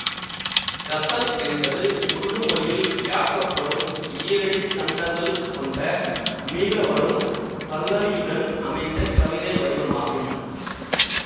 கசல் என்பது உருதுமொழியில் யாக்கப்படும் ஈரடி சந்தங்கள் கொண்ட மீளவரும் பல்லவியுடன் அமைந்த கவிதை வடிவாகும்